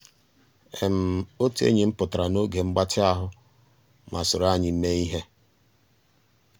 ótú ényí m pụ́tárá n'ògé mgbàtị́ ahụ́ má sòró ànyị́ meé íhé.